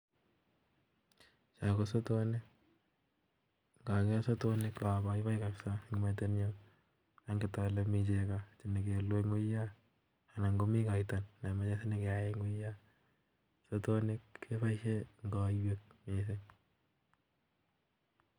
Cho ko sotonik, ngoker sotonik ko abaibai kabisa eng metinyun angetole mi chego chemoekelu en wuyan anan komi koito nemoche nyokeyai eng wuyan.,Sotonik keboisien en koiywek missing